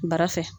Bara fɛ